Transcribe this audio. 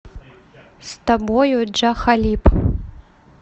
с тобою джа халиб